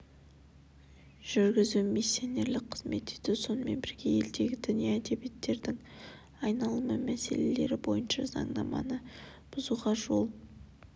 жүргізу миссионерлік қызмет ету сонымен бірге елдегі діни әдебиеттердің айналымы мәселелері бойынша заңнаманы бұзуға жол